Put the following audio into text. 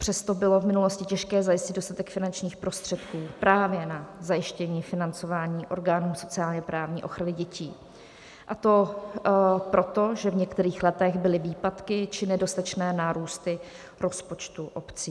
Přesto bylo v minulosti těžké zajistit dostatek finančních prostředků právě na zajištění financování orgánů sociálně-právní ochrany dětí, a to proto, že v některých letech byly výpadky či nedostatečné nárůsty rozpočtu obcí.